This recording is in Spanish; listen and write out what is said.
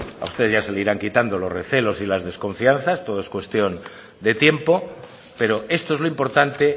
a usted ya se le irán quitando los recelos y las desconfianzas todo es cuestión de tiempo pero esto es lo importante